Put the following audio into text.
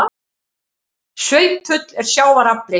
Svipull er sjávar afli.